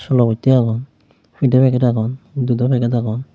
solo bosti agon pidey packet agon dudo packet agon.